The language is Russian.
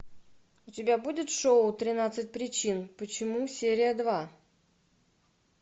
у тебя будет шоу тринадцать причин почему серия два